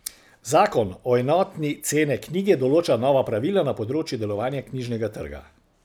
Zakon o enotni cene knjige določa nova pravila na področju delovanja knjižnega trga.